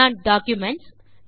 நான் டாக்குமென்ட்ஸ்